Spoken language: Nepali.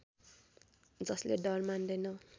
जसले डर मान्दैन